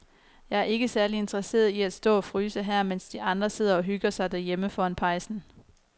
Jeg er ikke særlig interesseret i at stå og fryse her, mens de andre sidder og hygger sig derhjemme foran pejsen.